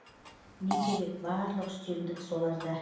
не керек барлық үстемдік соларда